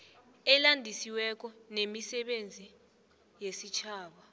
elandisiweko lemisebenzi yesitjhaba